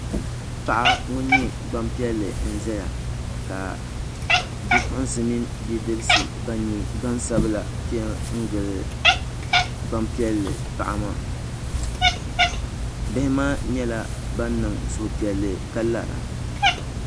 Paɣa ŋun nyɛ Gbanpiɛli n ʒɛya ka bipuɣunsi mini bidibsi ban nyɛ gbansabila piɛ ngili Gbanpiɛli paɣa maa bihi maa nyɛla ban niŋ suhupiɛlli ka lara